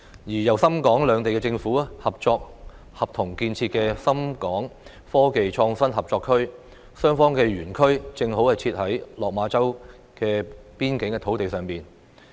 再者，由深港兩地政府合作共同建設的深港科技創新合作區，雙方的園區正好設在落馬洲邊境土地上。